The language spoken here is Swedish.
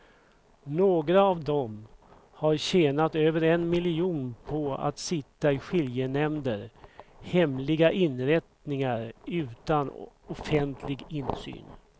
Några av dem har tjänat över en miljon på att sitta i skiljenämnder, hemliga inrättningar utan offentlig insyn.